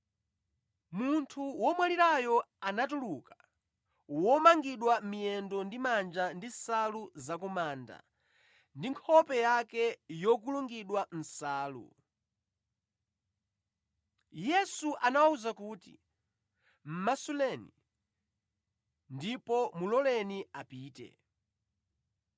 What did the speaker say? Munthu womwalirayo anatuluka, womangidwa miyendo ndi manja ndi nsalu za ku manda, ndi nkhope yake yokulungidwa nsalu. Yesu anawawuza kuti, “Mʼmasuleni, ndipo muloleni apite.”